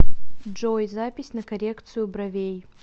джой запись на коррекцию бровей